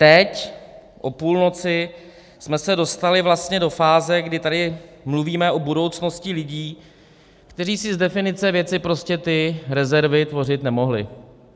Teď o půlnoci jsme se dostali vlastně do fáze, kdy tady mluvíme o budoucnosti lidí, kteří si z definice věci prostě ty rezervy tvořit nemohli.